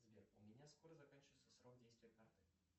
сбер у меня скоро заканчивается срок действия карты